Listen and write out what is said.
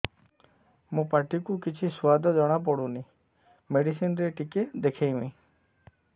ମୋ ପାଟି କୁ କିଛି ସୁଆଦ ଜଣାପଡ଼ୁନି ମେଡିସିନ ରେ ଟିକେ ଦେଖେଇମି